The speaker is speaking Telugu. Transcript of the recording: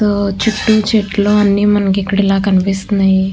ఆ చుట్టూ చెట్లు అన్నీ మనకిక్కడ ఇలా కనిపిస్తున్నాయి.